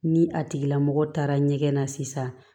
Ni a tigila mɔgɔ taara ɲɛgɛn na sisan